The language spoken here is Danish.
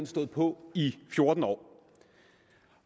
stået på i fjorten år